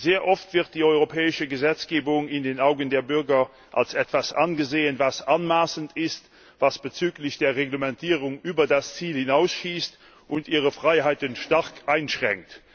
Sehr oft wird die europäische Gesetzgebung in den Augen der Bürger als etwas angesehen, was anmaßend ist, was bezüglich der Reglementierung über das Ziel hinausschießt und ihre Freiheiten stark einschränkt.